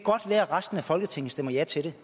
resten af folketinget stemmer ja til det